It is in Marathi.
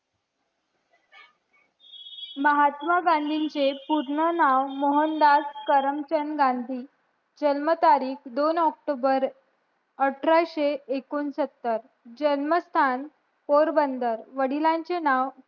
महात्मा गांधींचे पूर्ण नाव मोहनदास करमचंद गांधी जन्म तारीख दोन ऑक्टोबर अठराशे एकोणसतर जन्म स्थान पोरबंदर वडिलांचे नाव